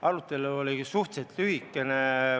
Arutelu oli suhteliselt lühikene.